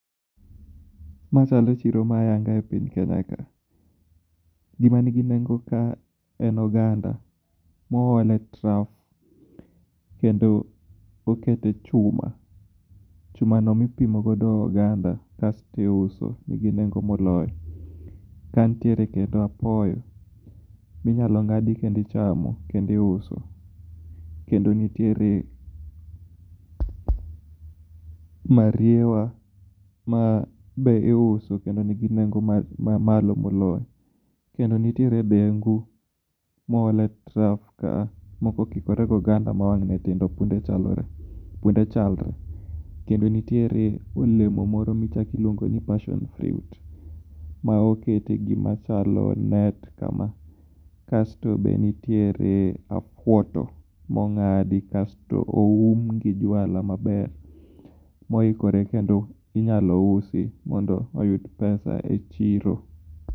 Ma e chalo chiro ma ayanga e piny kenya ka gima ni gi nengo ka en oganda ma oole e trough kendo okete chuma no ma ipimo godo oganda kasto iuso nigi nengo moloyo ka ni tiere kendo apoyo mi nyalo ngadi kendo ichamo kendo iuso kendo nitiere mariwa ma be iuso kendo nigi nengo ma malo moloyo kendo nitiere dengu moole trough ka a moko okikore gi oganda ma wange tindo kendo chalore kendo niitiere olomo moro ma iluongo ni passion fruit ma okete gi ma chalo net kama kasto be nitiere afwoto mo ngadi kasto oum gi juala ma ber mo ikore kendo inyalo usi mondo oyud pesa e chiro